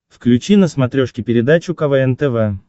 включи на смотрешке передачу квн тв